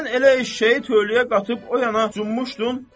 Sən elə eşşəyi töləyə qatıb o yana cumuşdun.